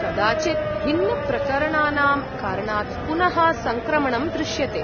कदाचित् भिन्नप्रकरणानां कारणात् पुनः सङ्क्रमणं दृश्यते।